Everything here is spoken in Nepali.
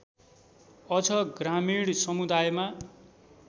अझ ग्रामीण समुदायमा